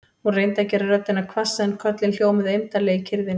Hún reyndi að gera röddina hvassa en köllin hljómuðu eymdarlega í kyrrðinni.